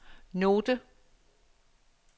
note